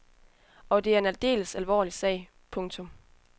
Og det er en aldeles alvorlig sag. punktum